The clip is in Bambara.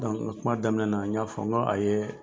nka kuma daminɛna n y'a fɔ n k' a ye